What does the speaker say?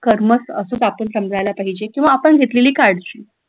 कर्मच असच आपण समजायला पाहिजे किंवा आपण घेतलेली काळजी